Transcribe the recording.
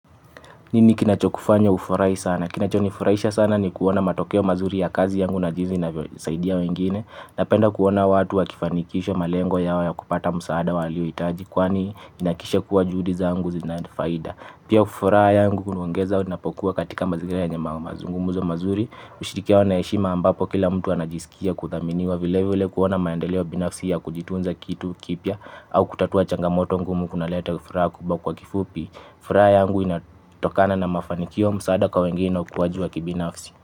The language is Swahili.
Nini kinachokufanya ufurahi sana? Kinachonifurahisha sana ni kuona matokeo mazuri ya kazi yangu na jinsi inavyosaidia wengine. Napenda kuona watu wakifanikisha malengo yao ya kupata msaada waliohitaji kwani inahakikisha kuwa juhudi zangu zina faida. Pia furaha yangu unaongeza unapokuwa katika mazingira yenye mazungumzo. Mazungumzo mazuri hushirikiana na heshima ambapo kila mtu anajisikia kuthaminiwa vile vile kuona maendeleo binafsi ya kujitunza kitu kipya au kutatua changamoto ngumu kunaleta furaha kubwa kwa kifupi. Furaha yangu inatokana na mafanikio msaada kwa wengeni ukuwaji wa kibinafsi.